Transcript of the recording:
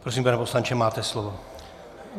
Prosím, pane poslanče, máte slovo.